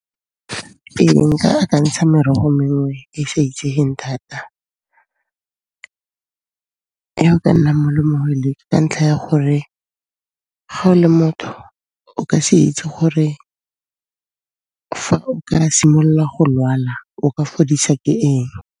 Nka akantsha merogo mengwe e e sa itsegeng thata ka ntlha ya gore ga o le motho o ka se itse gore fa o ka simolola go lwala o ka fodiswa ke eng.